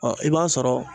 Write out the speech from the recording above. Ɔ i b'a sɔrɔ